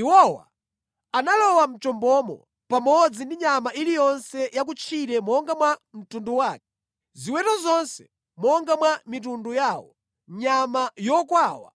Iwowa analowa mʼchombomo pamodzi ndi nyama iliyonse ya kutchire monga mwa mtundu wake, ziweto zonse monga mwa mitundu yawo, nyama yokwawa